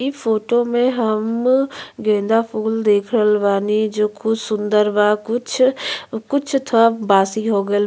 ई फोटो में हम गेंदा फूल देख रहल बानी जो खूब सुंदर बा कुछ कुछ थोड़ा बासी हो गइल --